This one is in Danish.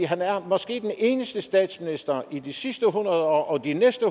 han er måske den eneste statsminister i de sidste hundrede år og de næste